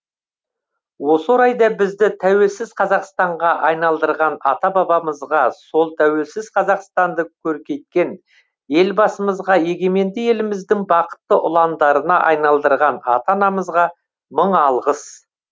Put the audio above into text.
осы орайда бізді тәуелсіз қазақстанға айналдырған ата бабамызға сол тәуелсіз қазақстанды көркейткен елбасымызға егеменді еліміздің бақытты ұландарына айналдырған ата анамызға мың алғыс